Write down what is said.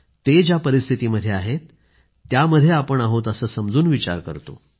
ते ज्या परिस्थितीमध्ये आहेत त्यामध्ये आपण आहोत असं समजून विचार करतो